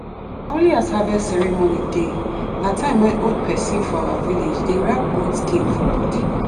only as harvest ceremony dey na time wey old pesin for our village dey wrap goat skin for body.